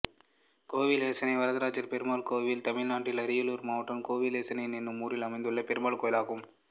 கோவில் எசனை வரதராஜப் பெருமாள் கோயில் தமிழ்நாட்டில் அரியலூர் மாவட்டம் கோவில் எசனை என்னும் ஊரில் அமைந்துள்ள பெருமாள் கோயிலாகும்